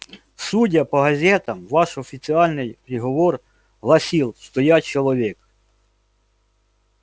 судя по газетам ваш официальный приговор гласил что я человек